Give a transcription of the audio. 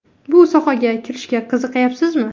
Bu sohaga kirishga qiziqayapsizmi?